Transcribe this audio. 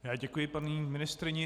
Já děkuji paní ministryni.